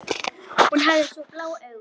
Hún hafði svo blá augu.